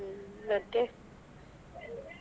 ಹ್ಮ್ ಮತ್ತೆ.